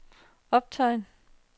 optegn